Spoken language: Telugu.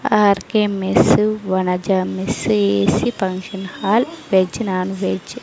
RK mess Vanaja mess A C function hall veg non veg .